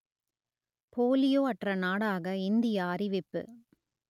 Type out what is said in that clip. polio அற்ற நாடாக India அறிவிப்பு